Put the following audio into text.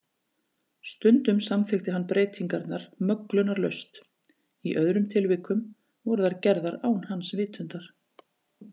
Stundum samþykkti hann breytingarnar möglunarlaust, í öðrum tilvikum voru þær gerðar án hans vitundar.